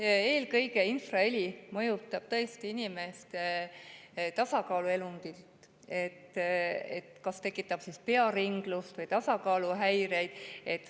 Jah, eelkõige mõjutab infraheli tõesti inimeste tasakaaluelundit, kas tekitab pearinglust või tasakaaluhäireid.